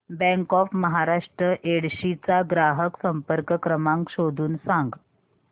bank of Maharashtra Yedshi चा ग्राहक संपर्क क्रमांक शोधून सांग